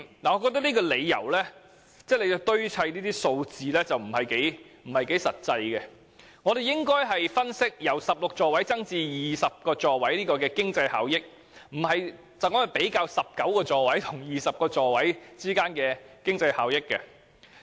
"我覺得政府堆砌數字的做法有欠實際，反而應該分析由16座位增至20座位的經濟效益，而不是比較由19座位增至20座位的經濟效益。